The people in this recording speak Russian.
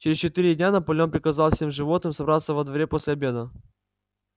через четыре дня наполеон приказал всем животным собраться во дворе после обеда